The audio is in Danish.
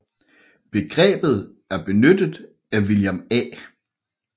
Begrebet er benyttet af William A